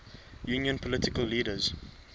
union political leaders